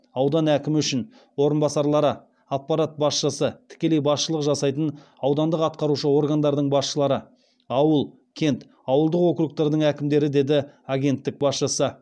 аудан әкімі үшін орынбасарлары аппарат басшысы тікелей басшылық жасайтын аудандық атқарушы органдардың басшылары ауыл кент ауылдық окургтардың әкімдері деді агенттік басшысы